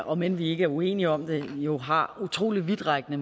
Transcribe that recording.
om end vi ikke er uenige om det jo har utrolig vidtrækkende